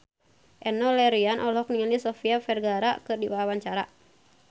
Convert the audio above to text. Enno Lerian olohok ningali Sofia Vergara keur diwawancara